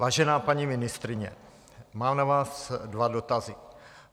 Vážená paní ministryně, mám na vás dva dotazy.